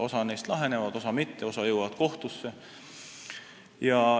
Osa neist laheneb, osa mitte, osa jõuab kohtusse.